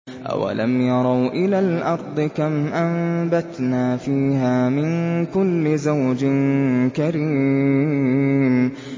أَوَلَمْ يَرَوْا إِلَى الْأَرْضِ كَمْ أَنبَتْنَا فِيهَا مِن كُلِّ زَوْجٍ كَرِيمٍ